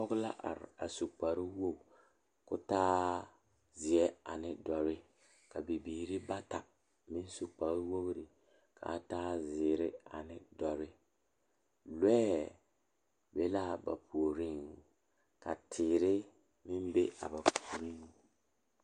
Pɔgeba are bayi ane bibile kaŋa toɔ la taa kaa nensaalba are ka bamine su kpare peɛle, ka bamine su kpare ziiri ka bamine su kpare sɔglɔ ka bamine su kpare doɔre ka bamine su kpare lene lene a bogi poɔ ka sagre meŋ be a bogi poɔ.